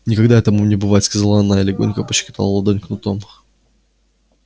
никогда этому не бывать сказала она и легонько пощекотала ладонь кнутом